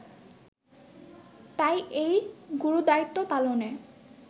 তাই এই গুরুদায়িত্ব পালনে